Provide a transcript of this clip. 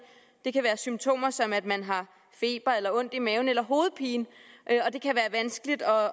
det kan være symptomer som at man har feber ondt i maven eller hovedpine